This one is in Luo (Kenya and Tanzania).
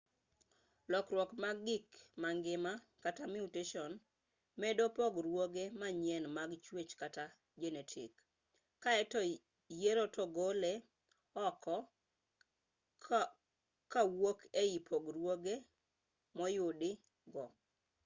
lokruok mag gik mangima kata mutation medo pogruoge manyien mag chwech kata jenetik kaeto yiero to gole oko kowuok ei pogruoge moyudi go